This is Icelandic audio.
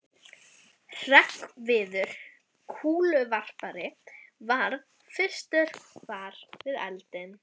Hreggviður kúluvarpari varð fyrstur var við eldinn.